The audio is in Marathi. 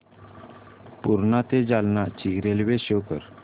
पूर्णा ते जालना ची रेल्वे शो कर